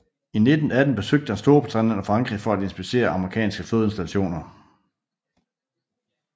I 1918 besøgte han Storbritannien og Frankrig for at inspicere amerikanske flådeinstallationer